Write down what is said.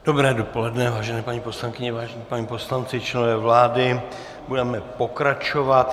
Dobré dopoledne, vážené paní poslankyně, vážení páni poslanci, členové vlády, budeme pokračovat.